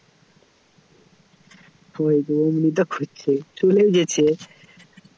ওরকম করেই তো করছে চলে গেছে